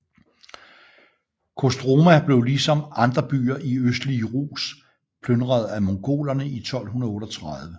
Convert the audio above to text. Kostroma blev ligesom andre byer i østlige Rus plynret af Mongolerne i 1238